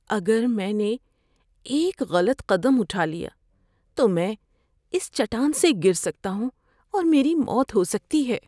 اگر میں نے ایک غلط قدم اٹھا لیا تو میں اِس چٹان سے گر سکتا ہوں اور میری موت ہو سکتی ہے۔